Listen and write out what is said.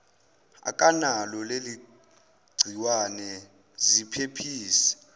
akanalo leligciwane ziphephise